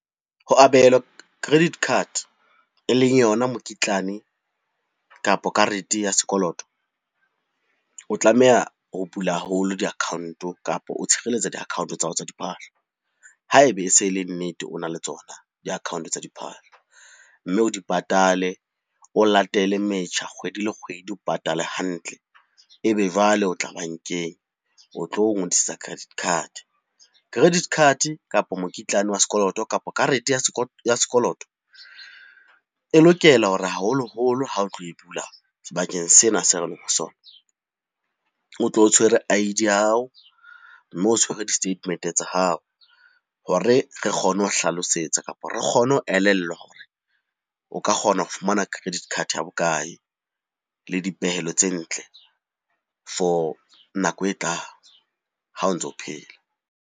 Ho abelwa credit card e leng yona mokitlane kapa karete ya sekoloto, o tlameha ho bula haholo di-account-o kapa o tshireletsa di-account tsa hao tsa diphahlo, haebe e se e le nnete o na le tsona di-account tsa diphahlo, mme o di patale, o latele metjha kgwedi le kgwedi, o patale hantle. E be jwale o tla bankeng o tlo ngodisetsa credit card, credit card, kapa mokitlane wa sekoloto, kapa karete ya sekoloto e lokela hore haholoholo ha o tlo e bula sebakeng sena se re leng ho sona, o tle o tshwere I_D ya hao, mme o tshwere di-statement tsa hao, hore re kgone ho hlalosetsa kapa re kgone ho elellwa hore o ka kgona ho fumana credit card ya bokae le dipehelo tse ntle for nako e tlang ha o ntso phela.